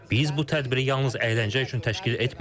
Biz bu tədbiri yalnız əyləncə üçün təşkil etmirik.